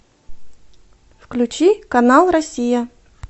включи канал россия